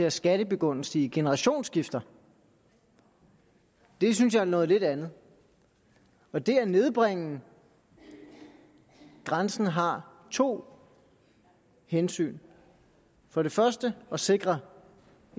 at skattebegunstige ved generationsskifter det synes jeg er noget lidt andet og det at nedbringe grænsen har to hensyn for det første at sikre